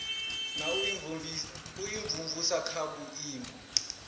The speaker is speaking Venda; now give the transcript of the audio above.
na u imvumvusa kha vhuimo